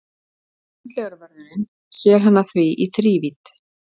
Sundlaugarvörðurinn sér hana því í þrívídd.